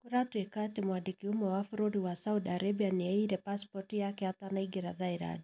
Kũratweka atĩ mwandĩki ũmwe wa bũrũri wa Saudi Arabia nĩ aiyire passport yake atanaĩingĩra Thailand.